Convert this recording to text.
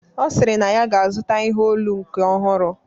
Ọ sịrị na ya ga-azụta ihe olu nke ọhụrụ